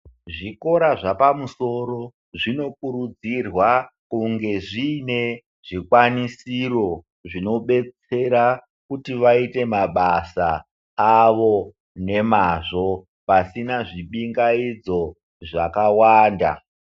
Zvikora zvepamusoro zvinokurudzirwa kunge zviine zvikwanisiro zvinobetsera kuti vaite mabasa avo nemazvo pasina zvibingaidzo zvakawanda.